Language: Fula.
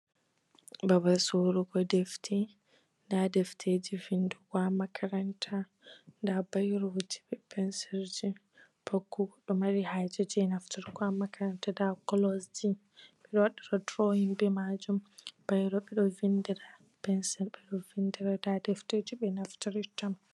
Babal sorogo ɗefte. Nɗa defteji vinɗugo ha makaranta. Nɗa bairoji be pinsil ji, pat ko goɗo mari haje ne nafturgo ha makaranta. Beɗo wawa durowin be majum. Bairro beɗo vinɗira pensil beɗo vinɗira. Nɗa ɗefterji be naftirira.